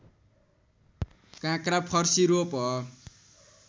काँक्रा फर्सी रोप